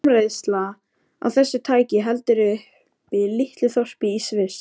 Framleiðsla á þessu tæki heldur uppi litlu þorpi í Sviss.